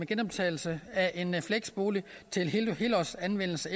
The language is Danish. genoptagelse af en fleksbolig til helårsanvendelse